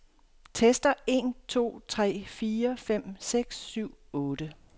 Tester en to tre fire fem seks syv otte.